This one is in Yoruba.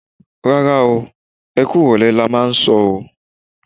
Rárá o, ẹ kú ìrọ̀lẹ́ lo máà ń sọ o.